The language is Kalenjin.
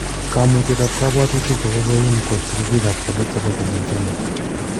kamutyet ab kapwatunik kokoim kot ripik ab kalyet chebo keny eng Kenya